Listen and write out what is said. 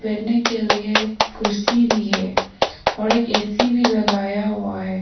बैठने के लिए कुर्सी भी है और एक ए_सी भी लगाया हुआ है।